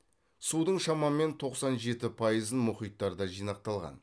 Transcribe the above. судың шамамен тоқсан жеті пайызын мұхиттарда жинақталған